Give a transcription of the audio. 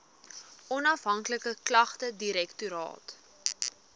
onafhanklike klagtedirektoraat